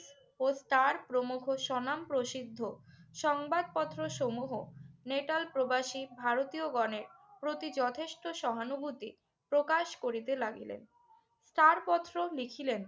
ও তার প্রমোঘোষণাম প্রসিদ্ধ সংবাদপত্রসমূহ নেটাল প্রবাসী ভারতীয়গণের প্রতি যথেষ্ট সহানুভূতি প্রকাশ করিতে লাগিলেন। ছাড়পত্র লিখিলেন।